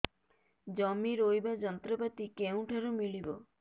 ଜମି ରୋଇବା ଯନ୍ତ୍ରପାତି କେଉଁଠାରୁ ମିଳିବ